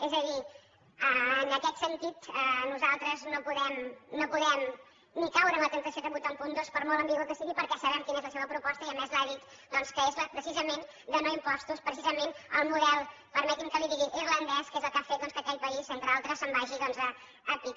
és a dir en aquest sentit nosaltres no podem ni caure en la temptació de votar un punt dos per molt ambigu que sigui perquè sabem quina és la seva proposta i a més l’ha dita doncs que és precisament la de no impostos precisament el model permeti’m que li ho digui irlandès que és el que ha fet que aquell país entre altres se’n vagi a que